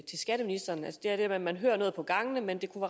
skatteministeren man hører noget på gangene men det kunne